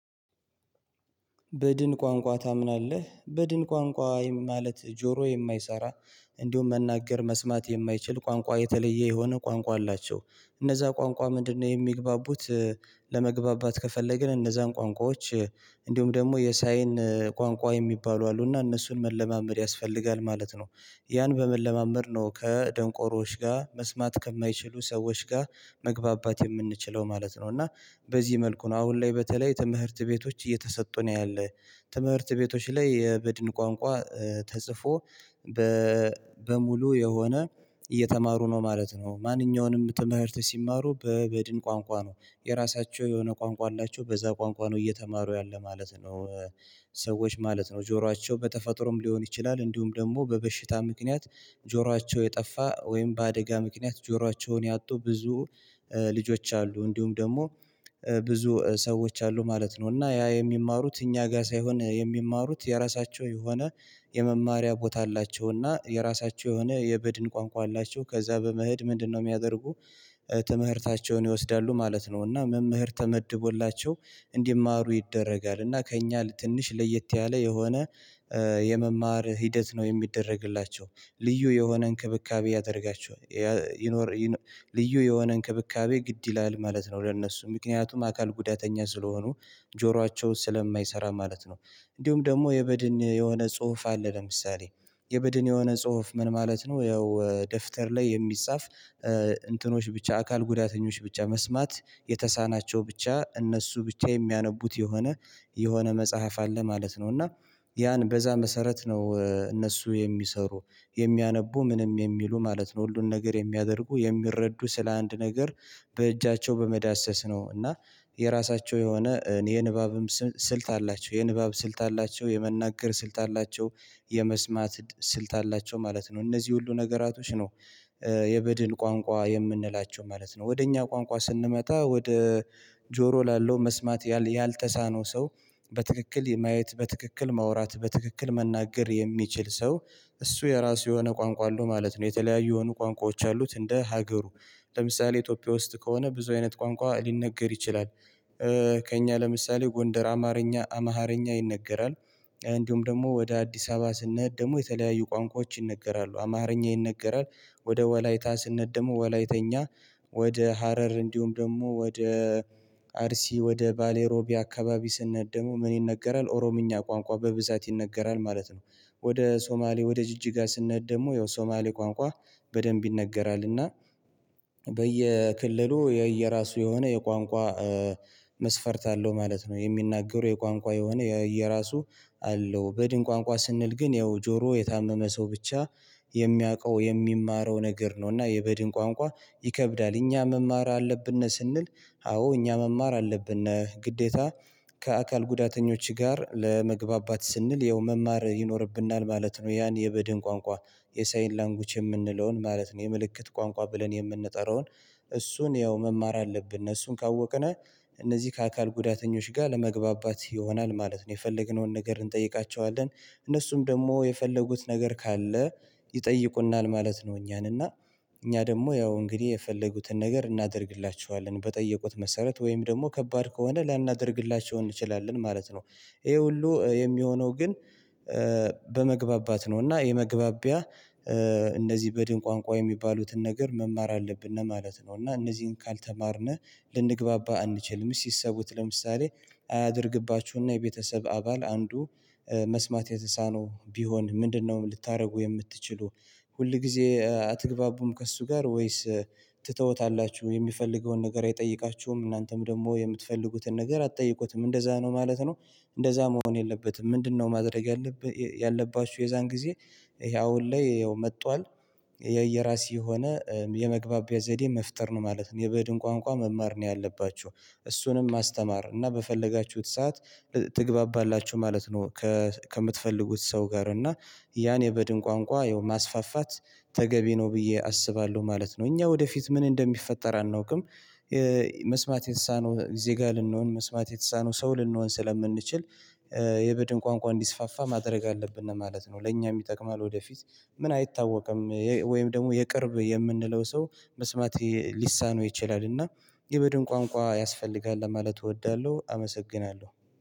በድን ቋንቋ ታምናለህ? በድን ቋንቋ ማለት ጆሮ የማይሰራ እንዲሁም መናገር መስማት የማይችል ቋንቋ የተለየ የሆነ ቋንቋ አላቸው። እነዛ ቋንቋ ምንድነው የሚግባቡት፤ ለመግባባት ከፈለግን እነዛን ቋንቋዎች እንዲሁም ደግሞ የሳይን ቋንቋ የሚባሉ አሉና እነሱን መለማመድ ያስፈልጋል ማለት ነው። ያን በመለማመድ ነው ከደንቆሮዎች ጋር መስማት ከማይችሉ ሰዎች ጋር መግባባት የምንችለው ማለት ነው። እና በዚህ መልኩ ነው አሁን ላይ በተለይ ትምህርት ቤቶች እየተሰጡ ነው ያለ። ትምህርት ቤቶች ላይ የበድን ቋንቋ ተጽፎ በሙሉ የሆነ እየተማሩ ነው ማለት ነው። ማንኛውንም ትምህርት ሲማሩ በበድን ቋንቋ ነው። የራሳቸው የሆነ ቋንቋ አላቸው። በዛ ቋንቋ ነው እየተማሩ ያለ ማለት ነው። ሰዎች ማለት ነው ጆሯቸው በተፈጥሮም ሊሆን ይችላል እንዲሁም ደግሞ በበሽታ ምክንያት ጆሯቸው የጠፋ ወይም በአደጋ ምክንያት ጆሯቸውን ያጡ ብዙ ልጆች አሉ። እንዲሁም ደግሞ ብዙ ሰዎች አሉ ማለት ነው። እና ያ የሚማሩት እኛ ጋር ሳይሆን የሚማሩት የራሳቸው የሆነ የመማሪያ ቦታ አላቸው እና የራሳቸው የሆነ የበድን ቋንቋ አላቸው። ከዛ በመሄድ ምንድነው የሚያደርጉ ትምህርታቸውን ይወስዳሉ ማለት ነው። እና መምህር ተመድቦላቸው እንዲማሩ ይደረጋል። እና ከእኛ ትንሽ ለየት ያለ የሆነ የመማር ሂደት ነው የሚደረግላቸው። ልዩ የሆነ እንክብካቤ ያደርጋቸዋል ይኖር ልዩ የሆነ እንክብካቤ ግድ ይላል ማለት ነው ለእነሱ። ምክንያቱም አካል ጉዳተኛ ስለሆኑ ጆሯቸው ስለማይሰራ ማለት ነው። እንዲሁም ደግሞ የበድን የሆነ ጽሁፍ አለ ለምሳሌ የበድን የሆነ ጽሁፍ ምን ማለት ነው ያው ደፍተር ላይ የሚጻፍ እንትኖች ብቻ አካል ጉዳተኞች ብቻ መስማት የተሳናቸው ብቻ እነሱ ብቻ የሚያነቡት የሆነ የሆነ መጽሐፍ አለ ማለት ነው። እና ያን በዛ መሰረት ነው እነሱ የሚሰሩ፣ የሚያነቡ ምንም የሚሉ ማለት ነው። ሁሉን ነገር የሚያደርጉ የሚረዱ ስለ አንድ ነገር በእጃቸው በመዳሰስ ነው። እና የራሳቸው የሆነ የንባብም ስልት አላቸው። የንባብ ስልት አላቸው፣ የመናገር ስልት አላቸው የመስማት ስልት አላቸው ማለት ነው። እነዚህ ሁሉ ነገራቶች ነው የበድን ቋንቋ የምንላቸው ማለት ነው። ወደ እኛ ቋንቋ ስንመጣ ወደ ጆሮ ላለው መስማት ያልተሳነው ሰው፣ በትክክል ማየት፣ በትክክል ማውራት፣ በትክክል መናገር የሚችል ሰው፤ እሱ የራሱ የሆነ ቋንቋ አለው ማለት ነው። የተለያዩ የሆኑ ቋንቋዎች አሉት እንደ ሀገሩ። ለምሳሌ ኢትዮጵያ ውስጥ ከሆነ ብዙ አይነት ቋንቋ ሊነገር ይችላል። ከእኛ ለምሳሌ ጎንደር አማርኛ ኣምሃርኛ ይነገራል። እንዲሁም ደግሞ ወደ አዲስ አበባ ስንሄድ ደግሞ የተለያዩ ቋንቋዎች ይነገራሉ፣ አማርኛ ይነገራል። ወደ ወላይታ ስንሄድ ደግሞ ወላይተኛ ወደ ሀረር እንዲሁም ደግሞ ወደ አርሲ ወደ ባሌሮቤ አካባቢ ስንሄድ ደግሞ ምን ይነገራል ኦሮምኛ ቋንቋ በብዛት ይነገራል ማለት ነው። ወደ ሶማሌ ወደ ጅጅጋ ስንሄድ ደግሞ ያው ሶማሌ ቋንቋ በደንብ ይነገራል። እና የየራሱ የሆነ የቋንቋ መስፈርት አለው ማለት ነው። የሚናገሩ የቋንቋ የሆነ የየራሱ አለው። በድን ቋንቋ ስንል ግን ያው ጆሮው የታመመ ሰው ብቻ የሚያውቀው የሚማረው ነገር ነው። እና የበድን ቋንቋ ይከብዳል። እኛ መማር አለብን ስንል አዎ እኛ መማር አለብን ግዴታ ከአካል ጉዳተኞች ጋር ለመግባባት ስንል ያው መማር ይኖርብናል ማለት ነው፤ ያን የበድን ቋንቋ የሳይን ላንጉዊጅ የምንለውን ማለት ነው። የምልክት ቋንቋ ብለን የምንጠራውን እሱን ያው መማር አለብን። እሱን ካወቅን እነዚህ ከአካል ጉዳተኞች ጋር ለመግባባት ይሆናል ማለት ነው። የፈለግነውን ነገር እንጠይቃቸዋለን እነሱም ደግሞ የፈለጉት ነገር ካለ ይጠይቁናል ማለት ነው እኛን። እና እኛ ደግሞ ያው እንግዲህ የፈለጉትን ነገር እናደርግላቸዋለን፤ በጠየቁት መሰረት ወይም ደግሞ ከባድ ከሆነ ላናደርግላቸው እንችላለን ማለት ነው። ይሄ ሁሉ የሚሆነው ግን በመግባባት ነው እና የመግባቢያ እነዚህ በድን ቋንቋ የሚባሉትን ነገር መማር አለብን ማለት ነው። እና እነዚህን ካልተማርን ልንግባባ አንችልም። አስኪ አስቡት ለምሳሌ አያድርግባችሁና የቤተሰብ አባል አንዱ መስማት የተሳነው ቢሆን ምንድነው ልታደርጉ የምትችሉ? ሁል ጊዜ አትግባቡም ከእሱ ጋር ወይስ ትተውታላችሁ የሚፈልገውን ነገር አይጠይቃችሁም እናንተም ደግሞ የምትፈልጉትን ነገር አትጠይቁትም፤ እንደዛ ነው ማለት ነው። እንደዛ መሆን የለበትም። ምንድነው ማድረግ ያለባችሁ የዛን ጊዜ ይሄ አሁን ላይ ያው መጥቷል የየራሴ የሆነ የመግባቢያ ዘዴ መፍጠር ነው ማለት ነው። የበድን ቋንቋ መማር ነው ያለባችሁ። እሱንም ማስተማር እና በፈለጋችሁት ሰዓት ትግባባላችሁ ማለት ነው። ከምትፈልጉት ሰው ጋር እና ያን የበድን ቋንቋ ያው ማስፋፋት ተገቢ ነው ብዬ አስባለሁ ማለት ነው። እኛ ወደፊት ምን እንደሚፈጠር አናውቅም መስማት የተሳነው ዜጋ ልንሆን መስማት የተሳነው ሰው ልንሆን ስለምንችል የበድን ቋንቋ እንዲስፋፋ ማድረግ አለብን ማለት ነው። ለእኛም ይጠቅማል ወደፊት። ምን አይታወቅም ወይም ደግሞ የቅርብ የምንለው ሰው መስማት ሊሳነው ይችላልና የቡድን ቋንቋ ያስፈልጋል ለማለት እወዳለሁ። አመሰግናለሁ።